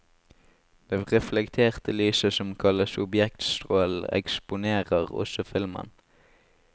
Det reflekterte lyset, som kalles objektstrålen, eksponerer også filmen.